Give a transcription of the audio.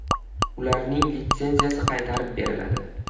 Ularning litsenziyasi qaytarib beriladi.